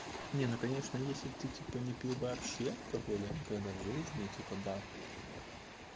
не ну конечно если ты типа не пил вообще то хули никогда в жизни типа да